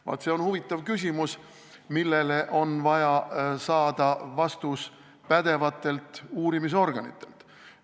Vaat see on huvitav küsimus, millele on vaja saada vastus pädevatelt uurimisorganitelt.